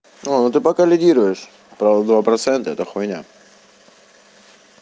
о ну ты пока лидируешь правда два процента это хуйня